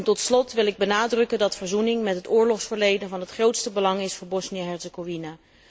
Tot slot wil ik benadrukken dat verzoening met het oorlogsverleden van het grootste belang is voor Bosnië Herzegovina.